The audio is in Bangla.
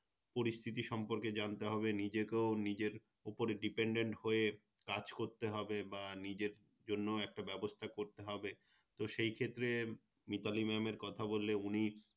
পরিস্থিতি সম্পর্কে জানতে হবে নিজেকেও নিজের উপরে Dependent হয়ে কাজ করতে হবে বা নিজের জন্যও একটা ব্যবস্থা করতে হবে তো সেক্ষেত্রে Mitali Mam এর কথা বললে উনি